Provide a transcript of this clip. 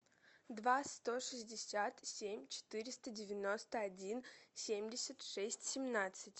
два сто шестьдесят семь четыреста девяносто один семьдесят шесть семнадцать